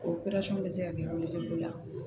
O bɛ se ka kɛ la